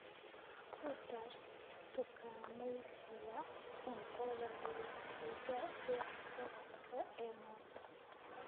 ku dar dukaamaysiga cuntada liiskayga wax-qabadka ee maanta